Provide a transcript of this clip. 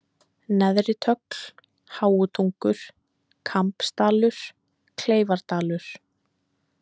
Neðritögl, Háutungur, Kambsdalur, Kleifardalur